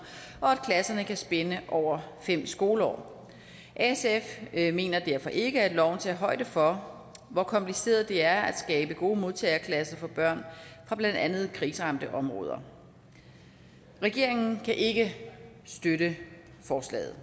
og klasserne kan spænde over fem skoleår sf mener derfor ikke at loven tager højde for hvor kompliceret det er at skabe gode modtageklasser for børn fra blandt andet kriseramte områder regeringen kan ikke støtte forslaget